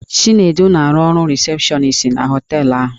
Chinedu na-arụ ọrụ rịsepshọnis na họteelụ ahụ.